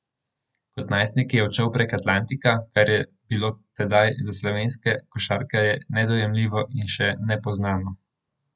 Kot najstnik je odšel prek Atlantika, kar je bilo tedaj za slovenske košarkarje nedojemljivo in še nepoznano.